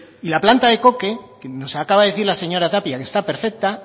y la planta de coque que nos acaba de decir la señora tapia que está perfecta